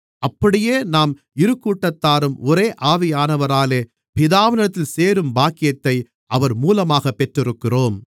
அப்படியே நாம் இருகூட்டத்தாரும் ஒரே ஆவியானவராலே பிதாவினிடத்தில் சேரும் பாக்கியத்தை அவர் மூலமாகப் பெற்றிருக்கிறோம்